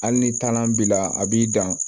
Hali ni taalan b'i la a b'i dan